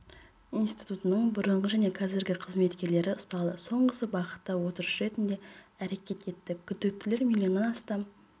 институтының бұрынғы және қазіргі қызметкерлері ұсталды соңғысы бағыттап отырушы ретінде әрекет етті күдіктілер миллионнан астам